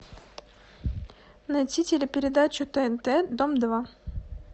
найти телепередачу тнт дом два